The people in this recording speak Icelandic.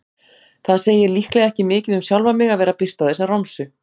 Það segir líklega ekki mikið um sjálfan mig að vera að birta þessa romsu.